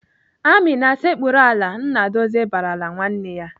"Amina, sekpuru ala!" Nnadozie barala nwanne ya.